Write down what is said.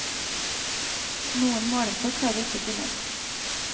Noen målestokk har vi ikke funnet.